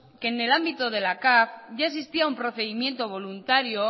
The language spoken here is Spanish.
que en el ámbito de la capv ya existía un procedimiento voluntario